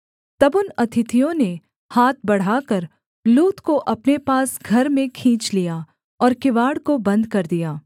तब उन अतिथियों ने हाथ बढ़ाकर लूत को अपने पास घर में खींच लिया और किवाड़ को बन्द कर दिया